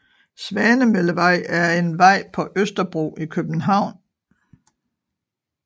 Svanemøllevej er en vej på Østerbro i København